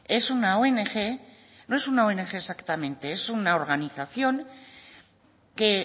es una ong exactamente es una organización que